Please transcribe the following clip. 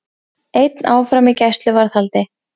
Einn áfram í gæsluvarðhaldi